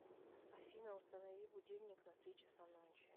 афина установи будильник на три часа ночи